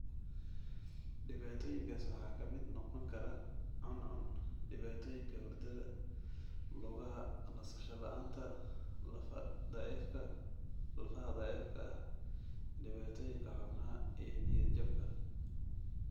Dhibaatooyinkaas waxaa ka mid noqon kara cuncun, dhibaatooyinka hurdada, lugaha nasasho la'aanta, lafaha daciifka ah, dhibaatooyinka xubnaha, iyo niyad-jabka.